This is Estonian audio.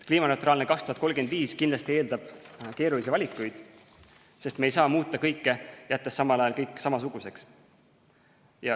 Kliimaneutraalne 2035 kindlasti eeldab keerulisi valikuid, sest me ei saa muuta kõike, jättes samal ajal kõik samasuguseks.